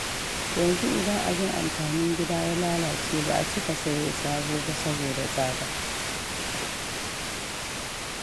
Yanzu idan abin amfanin gida ya lalace ba a cika sayo sabo ba saboda tsada.